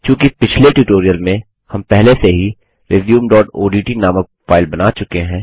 चूँकि पिछले ट्यूटोरियल में हम पहले से ही resumeओडीटी नामक फाइल बना चुके हैं